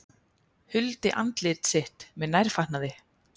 Huldi andlit sitt með nærfatnaði